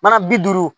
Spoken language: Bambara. Mana bi duuru